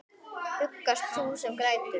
Huggast þú sem grætur.